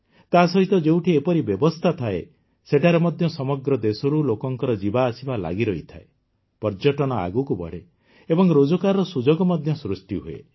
ତା ସହିତ ଯେଉଁଠି ଏପରି ବ୍ୟବସ୍ଥା ଥାଏ ସେଠାରେ ମଧ୍ୟ ସମଗ୍ର ଦେଶରୁ ଲୋକଙ୍କ ଯିବାଆସିବା ଲାଗିରହିଥାଏ ପର୍ଯ୍ୟଟନ ଆଗକୁ ବଢ଼େ ଏବଂ ରୋଜଗାରର ସୁଯୋଗ ମଧ୍ୟ ସୃଷ୍ଟି ହୁଏ